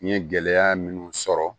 N ye gɛlɛya minnu sɔrɔ